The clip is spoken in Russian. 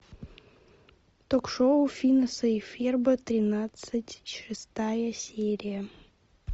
ток шоу финеса и ферба тринадцать шестая серия